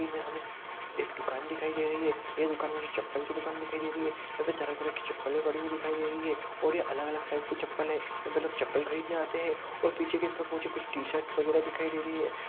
यहाँ पर हमें एक दुकान दिखाई दे रही है यह दुकान मुझे चप्पल की दुकान दिखाई दे रही है यहाँ पर तरह-तरह की चप्पल पड़ी हुई दिखाई दे रही हैं और यहाँ अलग-अलग साइज की चप्पल है यहाँ पर लोग चप्पल खरीदने आते हैं और पीछे की तरफ में मुझे कुछ टी-शर्ट वगैरा दिखाई दे रही हैं।